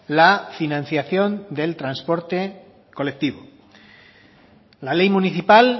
la financiación del transporte colectivo la ley municipal